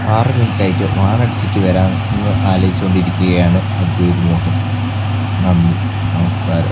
ആറ് മിനിറ്റ് ആയിട്ട വരാം എന്ന് ആലോചിച്ചു കൊണ്ടിരിക്കുകയാണ് നന്ദി നമസ്കാരം.